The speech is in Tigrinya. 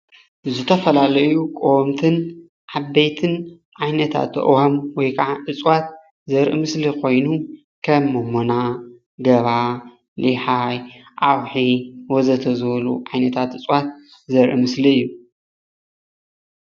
ዝተፈላለዩ ቆወምትን ዓበይትን ኣእዋም ወይ ከዓ እፅዋት ዘርኢ ምስሊ ኮይኑ ከም ሞሞና፣ ገባ ፣ሊሓይ፣ ኣውሒ ወዘተ ዝበሉ ዓይነታት እፅዋት ዘኢ ምስሊ እዩ፡፡